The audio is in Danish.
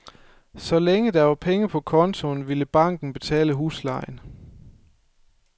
Så længe der var penge på kontoen, ville banken betale huslejen.